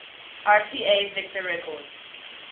rca victor records